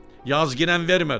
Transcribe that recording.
Yazginən, vermədi.